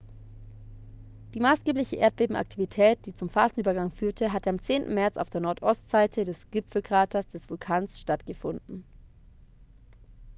die maßgebliche erdbebenaktivität die zum phasenübergang führte hatte am 10. märz auf der nordostseite des gipfelkraters des vulkans stattgefunden